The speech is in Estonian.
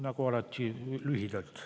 Nagu alati, lühidalt.